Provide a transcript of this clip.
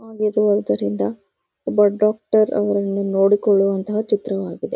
ಅಗಿರುವುದರಿಂದ ಒಬ್ಬ ಡಾಕ್ಟರ್ ಅವರನ್ನು ನೋಡಿಕೊಳ್ಳುವಂತಹ ಚಿತ್ರವಾಗಿದೆ.